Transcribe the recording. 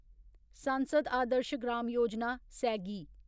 सांसद आदर्श ग्राम योजना सैगी